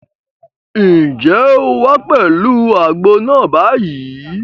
Ǹjẹ́ o wá pẹ̀lú àgbo náà báyìí?